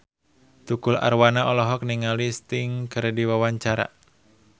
Tukul Arwana olohok ningali Sting keur diwawancara